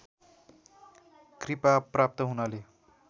कृपा प्राप्त हुनाले